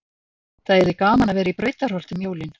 Það yrði gaman að vera í Brautarholti um jólin.